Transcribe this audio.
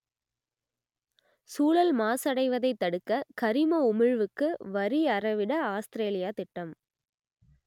சூழல் மாசடைவதைத் தடுக்க கரிம உமிழ்வுக்கு வரி அறவிட ஆஸ்திரேலியா திட்டம்